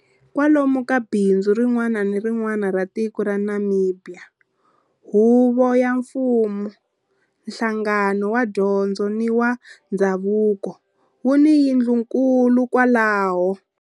Kwalomu ka bindzu rin'wana ni rin'wana ra tiko ra Namibia, huvo ya mfumo, nhlangano wa dyondzo ni wa ndhavuko wu ni yindlunkulu kwalaho.